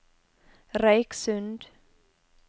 Røyksund